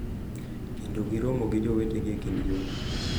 Kendo giromo gi jowetegi e kind yo.